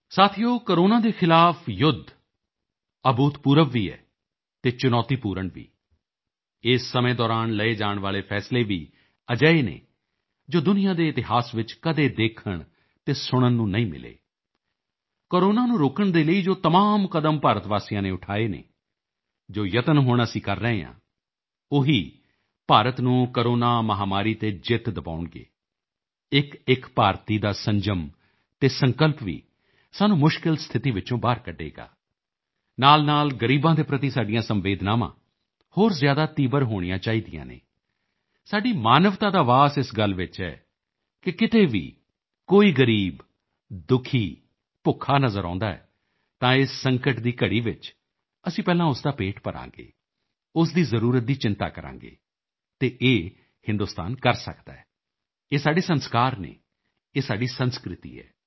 ਸਾਥੀਓ ਕੋਰੋਨਾ ਦੇ ਖ਼ਿਲਾਫ਼ ਯੁੱਧ ਅਭੂਤਪੂਰਵ ਵੀ ਹੈ ਅਤੇ ਚੁਣੌਤੀਪੂਰਣ ਵੀ ਇਸ ਸਮੇਂ ਦੌਰਾਨ ਲਏ ਜਾਣ ਵਾਲੇ ਫੈਸਲੇ ਵੀ ਅਜਿਹੇ ਹਨ ਜੋ ਦੁਨੀਆਂ ਦੇ ਇਤਿਹਾਸ ਵਿੱਚ ਕਦੇ ਦੇਖਣ ਅਤੇ ਸੁਣਨ ਨੂੰ ਨਹੀਂ ਮਿਲੇ ਕੋਰੋਨਾ ਨੂੰ ਰੋਕਣ ਦੇ ਲਈ ਜੋ ਤਮਾਮ ਕਦਮ ਭਾਰਤ ਵਾਸੀਆਂ ਨੇ ਉਠਾਏ ਹਨ ਜੋ ਯਤਨ ਹੁਣ ਅਸੀਂ ਕਰ ਰਹੇ ਹਾਂ ਉਹੀ ਭਾਰਤ ਨੂੰ ਕੋਰੋਨਾ ਮਹਾਮਾਰੀ ਤੇ ਜਿੱਤ ਦਿਵਾਉਣਗੇ ਇੱਕਇੱਕ ਭਾਰਤੀ ਦਾ ਸੰਜਮ ਅਤੇ ਸੰਕਲਪ ਵੀ ਸਾਨੂੰ ਮੁਸ਼ਕਿਲ ਸਥਿਤੀ ਵਿੱਚੋਂ ਬਾਹਰ ਕੱਢੇਗਾ ਨਾਲਨਾਲ ਗ਼ਰੀਬਾਂ ਦੇ ਪ੍ਰਤੀ ਸਾਡੀਆਂ ਸੰਵੇਦਨਾਵਾਂ ਹੋਰ ਜ਼ਿਆਦਾ ਤੀਬਰ ਹੋਣੀਆਂ ਚਾਹੀਦੀਆਂ ਨੇ ਸਾਡੀ ਮਾਨਵਤਾ ਦਾ ਵਾਸ ਇਸ ਗੱਲ ਵਿੱਚ ਹੈ ਕਿ ਕਿਤੇ ਵੀ ਕੋਈ ਗ਼ਰੀਬ ਦੁਖੀ ਭੁੱਖਾ ਨਜ਼ਰ ਆਉਂਦਾ ਹੈ ਤਾਂ ਇਸ ਸੰਕਟ ਦੀ ਘੜੀ ਵਿੱਚ ਅਸੀਂ ਪਹਿਲਾਂ ਉਸ ਦਾ ਪੇਟ ਭਰਾਂਗੇ ਉਸ ਦੀ ਜ਼ਰੂਰਤ ਦੀ ਚਿੰਤਾ ਕਰਾਂਗੇ ਅਤੇ ਇਹ ਹਿੰਦੁਸਤਾਨ ਕਰ ਸਕਦਾ ਹੈ ਇਹ ਸਾਡੇ ਸੰਸਕਾਰ ਹਨ ਇਹ ਸਾਡੀ ਸੰਸਕ੍ਰਿਤੀ ਹੈ